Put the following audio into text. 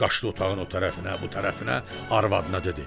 Qaçdı otağın o tərəfinə, bu tərəfinə, arvadına dedi: